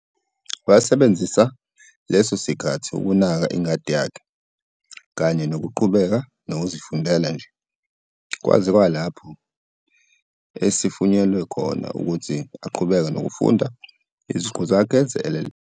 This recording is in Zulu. Wasebenzisa leso sikkhathi ukunaka ingadi yakhe, kanye nokuqhubeka nokuzifundela nje, kwaze kwalapho esivunyelwe futhi ukuthi aqhubeke nokufundela iziqu zakhe ze-LLB ngo-1980.